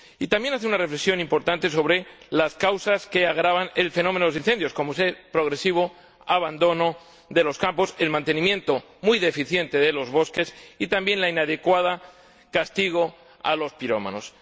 Y también hace una reflexión importante sobre las causas que agravan el fenómeno de los incendios, como es el progresivo abandono de los campos, el mantenimiento muy deficiente de los bosques y también el inadecuado castigo de los pirómanos.